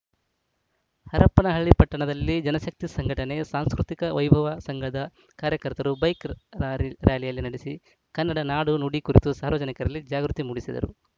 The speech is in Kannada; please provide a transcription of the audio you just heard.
ಹರಪನಹಳ್ಳಿ ಪಟ್ಟಣದಲ್ಲಿ ಜನಶಕ್ತಿ ಸಂಘಟನೆ ಸಾಂಸ್ಕೃತಿಕ ವೈಭವ ಸಂಘದ ಕಾರ್ಯಕರ್ತರು ಬೈಕ್‌ ರಾರಿ ರಾರ‍ಯಲಿ ನಡೆಸಿ ಕನ್ನಡ ನಾಡು ನುಡಿ ಕುರಿತು ಸಾರ್ವಜನಿಕರಲ್ಲಿ ಜಾಗೃತಿ ಮೂಡಿಸಿದರು